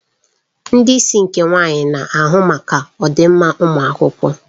Ndị isi nke nwaanyị na-ahụ maka ọdịmma ụmụ akwụkwọ.